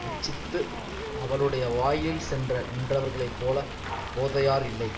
இச்சித்து அவனுடைய வாயிலில் சென்று நின்றவர்களை போல போதையார் இல்லை